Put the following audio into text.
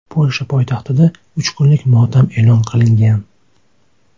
Polsha poytaxtida uch kunlik motam e’lon qilingan.